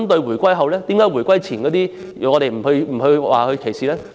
為何回歸前的移民卻不受歧視？